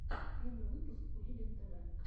первый выпуск кулибин тв